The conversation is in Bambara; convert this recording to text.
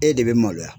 E de bɛ maloya